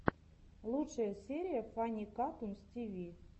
лучшая серия фанни катунс тиви